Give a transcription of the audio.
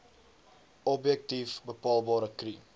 objektief bepaalbare kri